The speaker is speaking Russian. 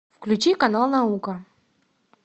включи канал наука